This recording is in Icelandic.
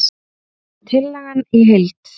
Tillagan í heild